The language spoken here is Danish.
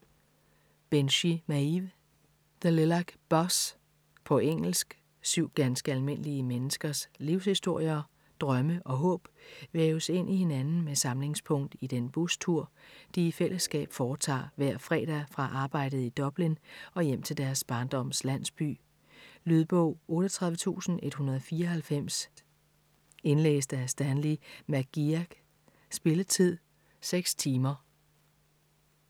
Binchy, Maeve: The lilac bus På engelsk. Syv ganske almindelige menneskers livshistorier, drømme og håb væves ind i hinanden med samlingspunkt i den bustur, de i fællesskab foretager hver fredag fra arbejdet i Dublin og hjem til deres barndoms landsby. Lydbog 38194 Indlæst af Stanley McGeagh Spilletid: 6 timer, 0 minutter.